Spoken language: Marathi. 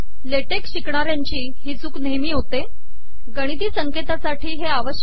ले टेक िशकणाऱयाची ही चूक नेहमी होतेगिणती संकेतासाठी हे आवशयक आहे